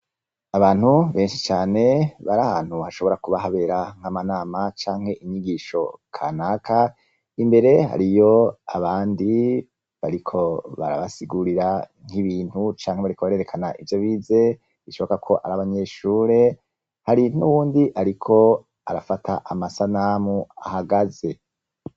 Abantu benshi cane bari ahantu hashobora kuba habera nk'amanama canke inyigisho kanaka. Imbere hariyo abandi bariko barabasigurira nk'ibintu canke bariko barerekana ivyo bize, bishoboka ko ari abanyeshure, hari n'uwundi ariko arafata amasanamu ahagaze.